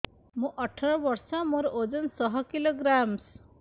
ମୁଁ ଅଠର ବର୍ଷ ମୋର ଓଜନ ଶହ କିଲୋଗ୍ରାମସ